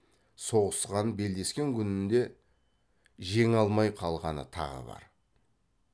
соғысқан белдескен күнінде жеңе алмай қалғаны тағы бар